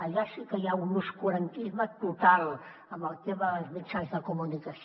allà sí que hi ha un obscurantisme total amb el tema dels mitjans de comunicació